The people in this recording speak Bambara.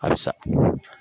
A sa